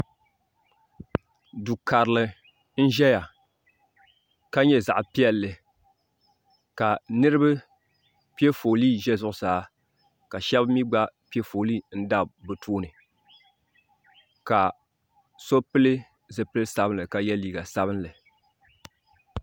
do kari n ʒɛya ka nyɛ zaɣ piɛli ka niriba pɛ ƒɔli ʒɛ zuɣ saa ka shɛbi mi gba pɛ ƒɔli n dabi bɛ tuuni ka so pɛli zibili sabinli ka yɛ liga sabinli